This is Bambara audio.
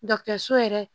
so yɛrɛ